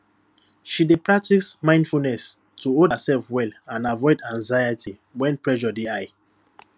she dey practice mindfulness to hold herself well and avoid anxiety when pressure dey high